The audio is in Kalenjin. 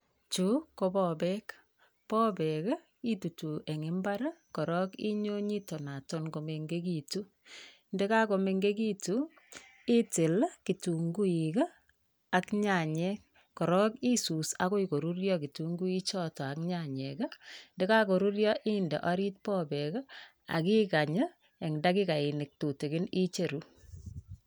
Chu, ko popek. Popek itutu eng mbar korok inyo nyitonoton komengekitu ndekakomenkekiitu, itil kitunguik ak nyanyek korok isus akoi korurio kitunguichoto ak nyanyek ndekakoruryo inde orit popek akikany eng dakikainik tutikin icheru.